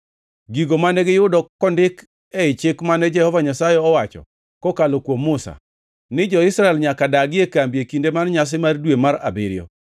Gigo mane giyudo kondik ei Chik mane Jehova Nyasaye owacho kokalo kuom Musa, ni jo-Israel nyaka dagi e kambi e kinde mar nyasi mar dwe mar abiriyo,